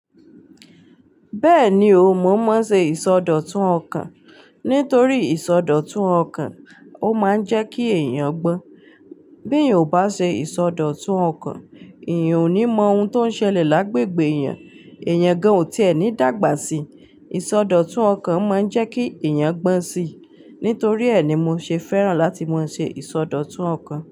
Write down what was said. Bẹ́ẹ̀ni o, mo maa n ṣe ìsọdọ̀tun ọkàn. Nítorí ìsọdọ̀tun ọkàn, ó máa ń jẹ́ kí èèyàn gbọ́n. Bí èèyàn ò bá ṣe ìsọdọ̀tun ọkàn, èèyàn ò ní mọ ohun tó ń ṣẹlẹ̀ lágbègbè èèyàn, èèyàn gan ò tí ẹní dàgbà sí. Ìsọdọ̀tun ọkàn máa ń jẹ́ kí èèyàn gbọ́n si. Nítorí ẹ ní mo ṣe fẹ́ràn láti máa ń ṣe ìsọdọ̀tun ọkàn.